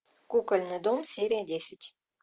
кукольный дом серия десять